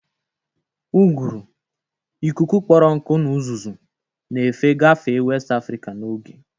Uguru, ikuku kpọrọ nkụ na uzuzu, na-efe gafee West Afrika n'oge.